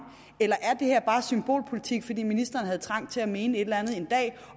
eller er det her bare symbolpolitik fordi ministeren havde trang til at mene et eller andet